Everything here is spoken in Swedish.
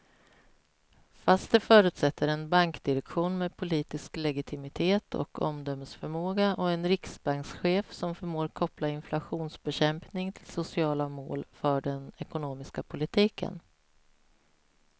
Fast det förutsätter en bankdirektion med politisk legitimitet och omdömesförmåga och en riksbankschef som förmår koppla inflationsbekämpning till sociala mål för den ekonomiska politiken.